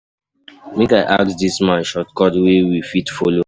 Make I ask di man shortcut wey we fit folo.